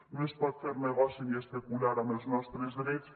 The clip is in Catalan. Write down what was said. no es pot fer negoci ni especular amb els nostres drets